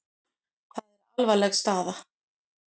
Það er alvarleg staða.